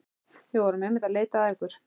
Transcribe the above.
Við vorum einmitt að leita að ykkur.